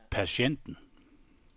patienten